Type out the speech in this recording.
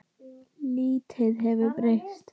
Lítið hefur breyst.